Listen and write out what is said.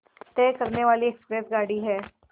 तय करने वाली एक्सप्रेस गाड़ी है